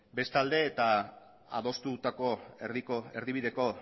bestalde eta adostutako erdibideko